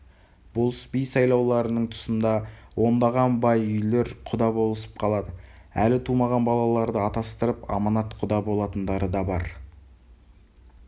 болыс-би сайлауларының тұсында ондаған бай үйлер құда болысып қалады әлі тумаған балаларды атастырып аманатқұда болатындары да бар